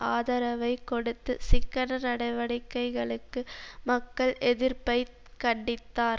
ஆதரவைக் கொடுத்து சிக்கன நடவடிக்கைகளுக்கு மக்கள் எதிர்ப்பை கண்டித்தார்